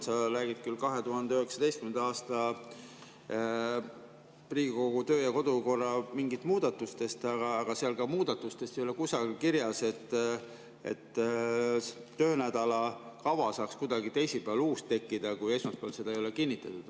Sa räägid küll 2019. aasta Riigikogu töö‑ ja kodukorra mingitest muudatustest, aga seal muudatustes ei ole kusagil kirjas, et saaks kuidagi teisipäeval uus töönädala kava tekkida, kui esmaspäeval seda ei ole kinnitatud.